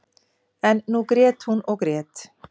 En nú grét hún og grét.